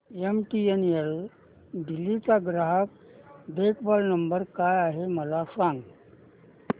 MTNL Delhi चा ग्राहक देखभाल नंबर काय आहे मला सांग